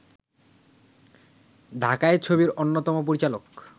ঢাকাই ছবির অন্যতম পরিচালক